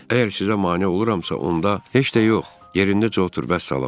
Əgər sizə mane oluramsa, onda heç də yox, yerindəcə otur, vəssalam.